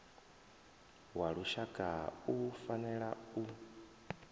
wa lushaka u fanela u